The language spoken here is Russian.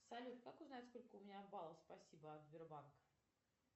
салют как узнать сколько у меня баллов спасибо от сбербанка